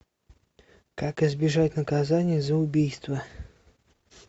как избежать наказания за убийство